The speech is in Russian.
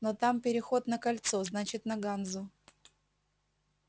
но там переход на кольцо значит на ганзу